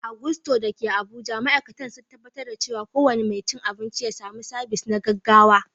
A Gusto da ke Abuja, ma’aikatan sun tabbatar da cewa kowane mai cin abinci ya samu sabis na gaggawa.